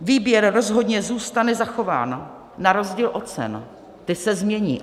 Výběr rozhodně zůstane zachován na rozdíl od cen - ty se změní.